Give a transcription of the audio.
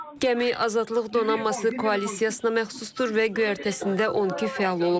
Gəmi Azadlıq Donanması Koalisiyasına məxsusdur və göyərtəsində 12 fəal olub.